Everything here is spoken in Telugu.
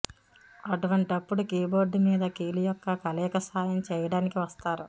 అటువంటప్పుడు కీబోర్డ్ మీద కీలు యొక్క కలయిక సాయం చేయడానికి వస్తారు